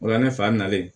O la ne fa nalen